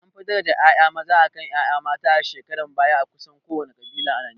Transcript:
An fi daraja ƴaƴa maza akan ƴaƴa mata a shekarun baya a kusan kowane ƙabila a Najeriya